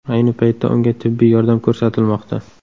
Ayni paytda unga tibbiy yordam ko‘rsatilmoqda.